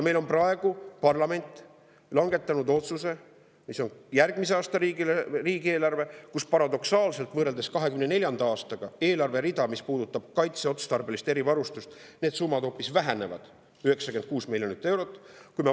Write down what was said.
Meil on parlament langetanud sellise otsuse, et järgmise aasta riigieelarves, võrreldes 2024. aasta, eelarvereal, mis puudutab kaitseotstarbelist erivarustust, paradoksaalselt hoopis vähenevad 96 miljoni euro võrra.